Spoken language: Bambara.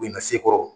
I na se kɔrɔ